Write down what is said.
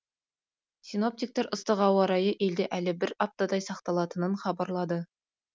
синоптиктер ыстық ауа райы елде әлі бір аптадай сақталатынын хабарлады